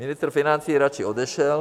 Ministr financí radši odešel.